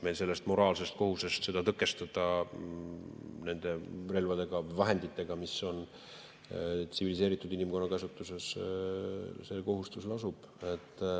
Meil lasub moraalne kohustus seda tõkestada nende vahenditega, mis on tsiviliseeritud inimkonna käsutuses.